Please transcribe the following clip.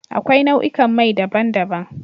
Akwai nau'ikan mai daban-daban.